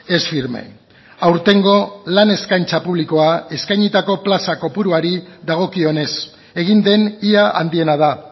es firme aurtengo lan eskaintza publikoa eskainitako plaza kopuruari dagokionez egin den ia handiena da